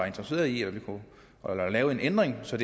interesseret i at vi kan lave en ændring så